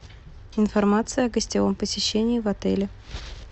информация о гостевом посещении в отеле